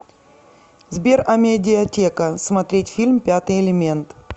сбер амедиатека смотреть фильм пятый элемент